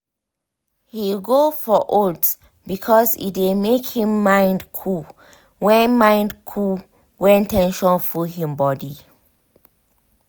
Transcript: he go for oats because e dey make him mind cool when mind cool when ten sion full him body.